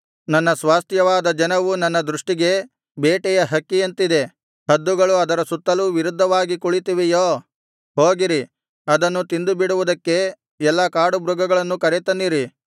ನನ್ನ ಸ್ವಾಸ್ತ್ಯವಾದ ಜನವು ನನ್ನ ದೃಷ್ಟಿಗೆ ಬೇಟೆಯ ಹಕ್ಕಿಯಂತಿದೆ ಹದ್ದುಗಳು ಅದರ ಸುತ್ತಲೂ ವಿರುದ್ಧವಾಗಿ ಕುಳಿತಿವೆಯೋ ಹೋಗಿರಿ ಅದನ್ನು ತಿಂದುಬಿಡುವುದಕ್ಕೆ ಎಲ್ಲಾ ಕಾಡುಮೃಗಗಳನ್ನು ಕರೆತನ್ನಿರಿ